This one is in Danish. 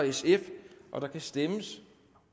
sf der kan stemmes